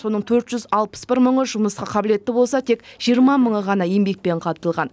соның төрт жүз алпыс бір мыңы жұмысқа қабілетті болса тек жиырма мыңы ғана еңбекпен қамтылған